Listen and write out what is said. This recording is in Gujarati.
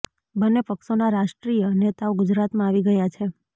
બંને પક્ષોના રાષ્ટ્રીય નેતાઓ ગુજરાતમાં આવી ગયા છે